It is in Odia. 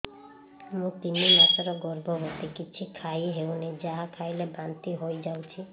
ମୁଁ ତିନି ମାସର ଗର୍ଭବତୀ କିଛି ଖାଇ ହେଉନି ଯାହା ଖାଇଲେ ବାନ୍ତି ହୋଇଯାଉଛି